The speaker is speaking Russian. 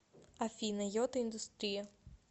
афина йота индустрия